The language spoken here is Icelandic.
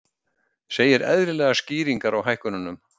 Segir eðlilegar skýringar á hækkunum